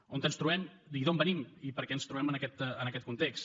on ens trobem i d’on venim i per què ens trobem en aquest context